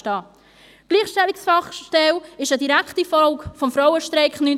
Die Gleichstellungsfachstelle ist eine direkte Folge des Frauenstreiks 1991.